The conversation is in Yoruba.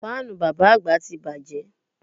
Fáànù bàbá àgbà ti bàjẹ́